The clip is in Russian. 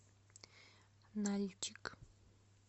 нальчик